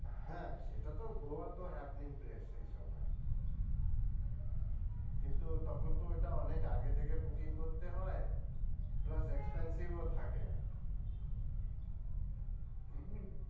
হ্যাঁ, সেটা তো গোয়া তো happening place আবার কিন্তু তখন তো ওইটা অনেক আগে থেকে booking করতে হয় plus expensive ও থাকে